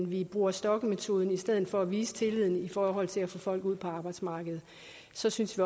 vi bruger stokkemetoden i stedet for at vise tillid i forhold til at få folk ud på arbejdsmarkedet så synes